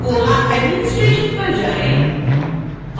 koha administration पर जाएँ